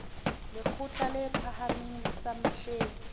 lekgotla le phahameng sa mehleng